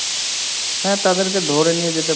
হ্যাঁ তাদেরকে ধরে নিয়ে যেতে,